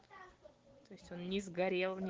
то есть он не сгорел ни